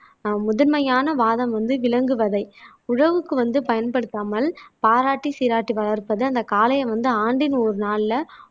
ஆஹ் முதன்மையான வாதம் வந்து விலங்குவதை உழவுக்கு வந்து பயன்படுத்தாமல் பாராட்டி சீராட்டி வளர்ப்பது அந்த காளையை வந்து ஆண்டின் ஒரு நாள்ல